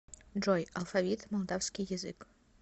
джой алфавит молдавский язык